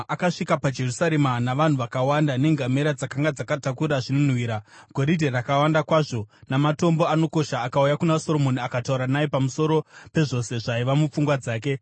Akasvika paJerusarema navanhu vakawanda, nengamera dzakanga dzakatakura zvinonhuhwira, goridhe rakawanda kwazvo, namatombo anokosha, akauya kuna Soromoni akataura naye pamusoro pezvose zvaiva mupfungwa dzake.